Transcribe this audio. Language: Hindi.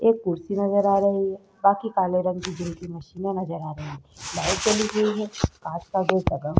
एक कुर्सी नजर आ रही है बाकि काले रंग की जिम की मशीनें नजर आ रही हैं। लाइट चली गयी है। काँच का दो --